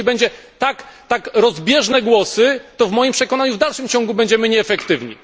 I jeśli będą tak rozbieżne głosy, to w moim przekonaniu w dalszym ciągu będziemy nieefektywni.